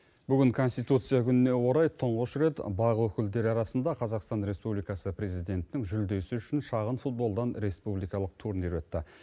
бүгін конституция күніне орай тұңғыш рет бақ өкілдері арасында қазақстан республикасы президентінің жүлдесі үшін шағын футболдан республикалық турнир өтті